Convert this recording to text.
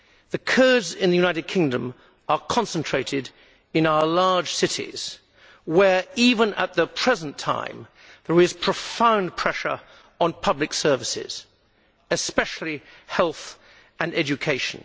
The Kurds in the United Kingdom are concentrated in our large cities where, even at the present time, there is profound pressure on public services, especially health and education.